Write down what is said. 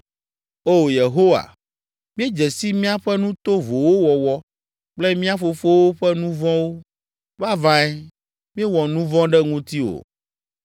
O Yehowa, míedze si míaƒe nu tovowo wɔwɔ kple mía fofowo ƒe nu vɔ̃wo. Vavãe míewɔ nu vɔ̃ ɖe ŋutiwò.